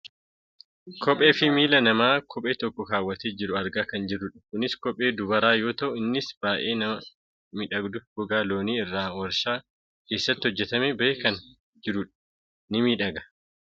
Kophee fi miila namaa kophee tokko kaawwatee jiru argaa kan jirrudha. Kunis kophee dubaraa yoo ta'u innis baayyee kan miidhaguufi gogaa loonii irraa waarshaa keessatti hojjatamee bahee kan jirudha. Ni miidhaga.